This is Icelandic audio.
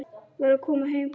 Var að koma heim.